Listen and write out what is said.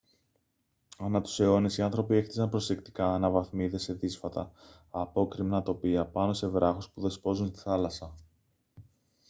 ανά τους αιώνες οι άνθρωποι έχτιζαν προσεκτικά αναβαθμίδες σε δύσβατα απόκρημνα τοπία πάνω σε βράχους που δεσπόζουν στη θάλασσα